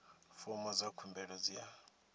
fomo dza khumbelo dzi a